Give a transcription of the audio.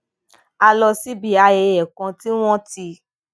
a lọ síbi ayẹyẹ kan tí wón ti